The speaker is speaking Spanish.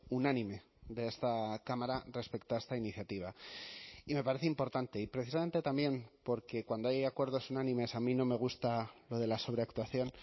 unánime de esta cámara respecto a esta iniciativa y me parece importante y precisamente también porque cuando hay acuerdos unánimes a mí no me gusta lo de la sobreactuación